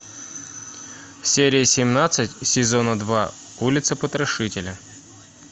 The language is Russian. серия семнадцать сезона два улица потрошителя